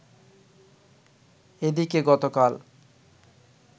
এদিকে গতকাল